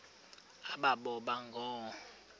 aba boba ngoo